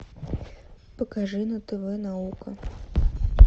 покажи на тв наука